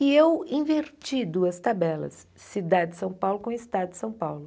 E eu inverti duas tabelas, cidade de São Paulo com estado de São Paulo.